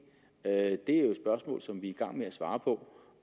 er jo spørgsmål som vi gang med at svare på